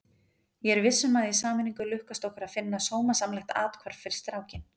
Ég er viss um að í sameiningu lukkast okkur að finna sómasamlegt athvarf fyrir strákinn.